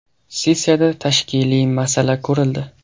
Sessiyada tashkiliy masala ko‘rildi.